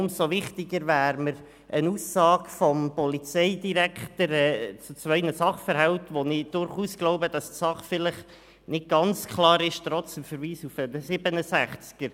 Umso wichtiger wäre für mich eine Aussage des Polizeidirektors betreffend zwei Sachverhalte, von denen ich denke, dass die Sachlage trotz des Verweises auf Artikel 67 nicht ganz klar ist.